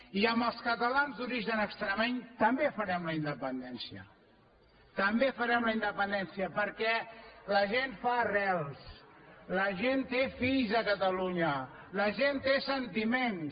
i amb els catalans d’origen extremeny també farem la independència també farem la independència perquè la gent fa arrels la gent té fills a catalunya la gent té sentiments